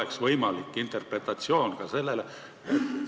Kas selline interpretatsioon oleks ka võimalik?